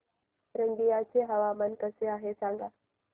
रंगिया चे हवामान कसे आहे सांगा